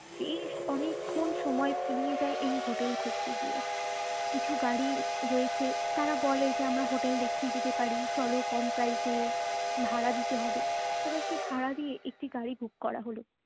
বেশ অনেকক্ষণ সময় পেরিয়ে যায় এই হোটেল খুঁজতে গিয়ে কিছু গাড়ি রয়েছে যারা বলে চলো আমরা হোটেল দেখিয়ে দিতে পারি চালো কম price ভাড়া দিতে হবে তাদেরকে ভাড়া দিয়ে একটি গাড়ি book করা হলো।